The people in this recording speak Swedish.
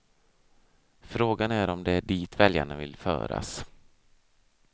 Frågan är om det är dit väljarna vill föras.